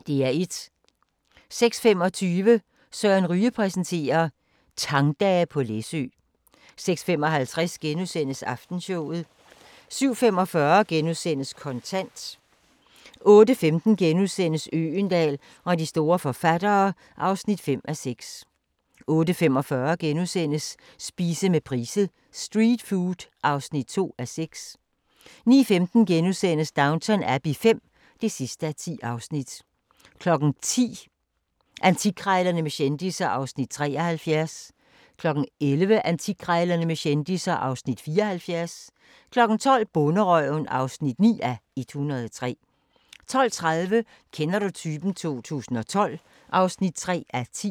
06:25: Søren Ryge præsenterer: Tangtage på Læsø 06:55: Aftenshowet * 07:45: Kontant * 08:15: Øgendahl og de store forfattere (5:6)* 08:45: Spise med Price: "Street food" (2:6)* 09:15: Downton Abbey V (10:10)* 10:00: Antikkrejlerne med kendisser (Afs. 73) 11:00: Antikkrejlerne med kendisser (Afs. 74) 12:00: Bonderøven (9:103) 12:30: Kender du typen? 2012 (3:10)